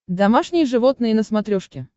домашние животные на смотрешке